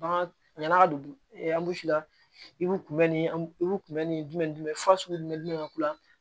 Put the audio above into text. Bagan ɲana don la i b'u kunbɛn ni bu kunbɛ ni jumɛn ni jumɛn fasugu jumɛn ka k'u la